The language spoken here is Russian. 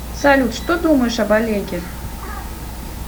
салют что думаешь об олеге